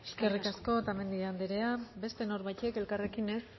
eskerrik asko eskerrik asko otamendi andrea beste norbaitek elkarrekin ez